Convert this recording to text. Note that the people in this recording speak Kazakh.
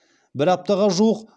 бір аптаға жуық